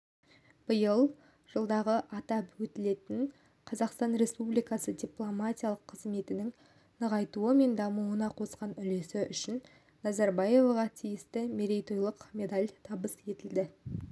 биыл жылдығы атап өтілетін қазақстан республикасы дипломатиялық қызметінің нығайтуы мен дамуына қосқан үлесі үшін назарбаеваға тиісті мерейтойлық медаль табыс етілді